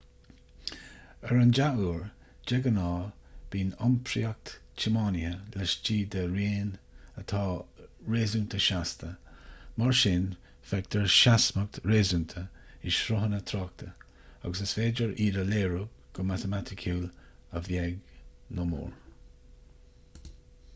ar an dea-uair de ghnáth bíonn iompraíocht tiománaithe laistigh de raon atá réasúnta seasta mar sin feictear seasmhacht réasúnta i sruthanna tráchta agus is féidir iad a léiriú go matamaiticiúil a bheag nó a mhór